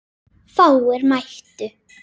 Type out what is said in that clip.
Fáir mættu.